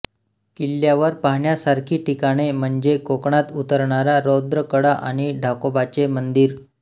किल्ल्यावर पाहण्यासारखी ठिकाणे म्हणजे कोकणात उतरणारा रौद्र कडा आणि ढाकोबाचे मंदिर